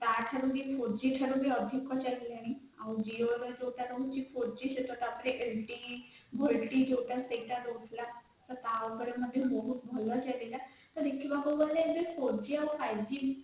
ତା ଠାରୁ ବି ଅଧିକ ଚାଲିଲାଣି it volte ଯୌଟା ସେଇଟା ବି ରହୁଥିଲା ତା ପରେ ମଧ୍ୟ ବହୁତ ଭଲ ଚାଲିଲା ଦେଖିବାକୁ ଗଲେ four g ଆଉ five g